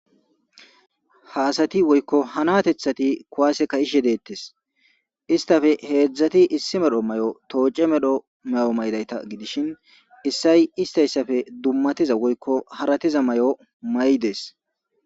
Haasati woykko hanatethati kuwaase ka ishedeettes istafe heedzdzati issi medho may7o tooce medho may'o maydayta gidishin issay istayssafe dummatiza woykko haratiza may7o may dees